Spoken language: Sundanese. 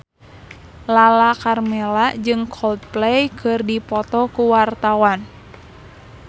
Lala Karmela jeung Coldplay keur dipoto ku wartawan